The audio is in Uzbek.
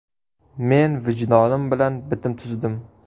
Men vijdonim bilan bitim tuzdim.